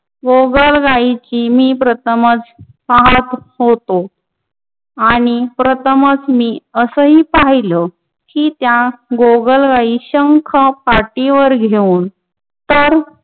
गोगलगायींची मी प्रथमच पाहत होतो आणि प्रथमच मी असही पाहिलं की त्या गोगलगायी शंख पाठीवर घेऊन त्या